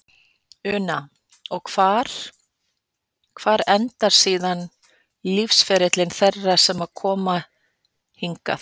Una: Og hvar, hvar endar síðan lífsferill þeirra eftir að þau koma hingað?